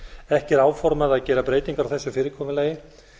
ekki er áformað að gera breytingar á þessu fyrirkomulagi